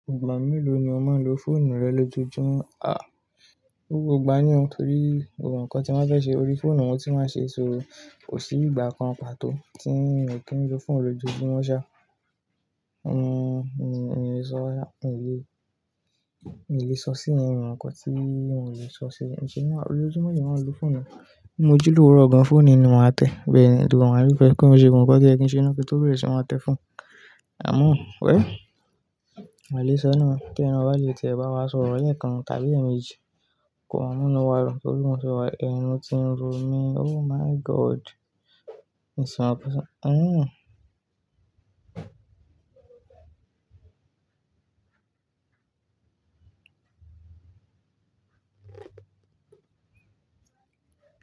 Igbọa mélòó ni o máa n lo fóònù rẹ lójoójúmọ́? À, gbogbo igba ni o, torí gbogbo nǹkan tí wọ́n fẹ́ ṣe ori fóònù wọ́n tí máa ṣe, so kò sí ìgbà kan pàtó tí n kò kí n lo fóònù lójoójúmọ́ ṣá. N ò lè sọ, n ò lè, n ò lè sọ sí i, n ò mọ nǹkan tí mò lè sọ sí i. Ǹjẹ́ ní ojoójúmọ́ lemi máa n lo fóònù? Bi mo ji lówuró gan fóònù ni màá tẹ̀. Bẹ́ẹ̀ni, gbogbo maa a rí fẹ́ kí n ṣe gbogbo nǹkan to ye kí n ṣe na kí tó beère ṣì máa te phone. Àmọ́ wẹ̀ll, nn ò lè sọ náà tẹ. Ẹni bá lè tiẹ̀ bá wá sọ ọ̀rọ̀ lẹ̀ekan tàbí èèmejì, kọmaa àmúná wá, torí ohun ti wá, ẹnu ti ń ro mi. Oh my God! N sọ ọpẹ́ sọ-. Ǹjẹ́